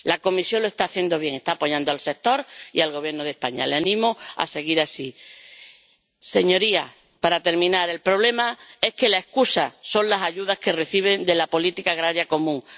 La Comisión lo está haciendo bien, está apoyando al sector y al Gobierno de España. La animo a seguir así. Señorías, para terminar, el problema es que la excusa son las ayudas que reciben de la política agrícola común.